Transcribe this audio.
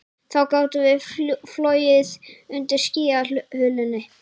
Þá gátum við flogið undir skýjahulunni